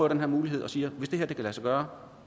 den her mulighed og siger hvis det her kan lade sig gøre